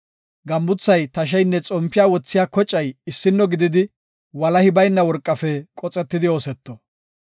Gambuthay, tasheynne xompiya wothiya kocay issino gididi, walahi bayna worqafe qoxetidi ooseto.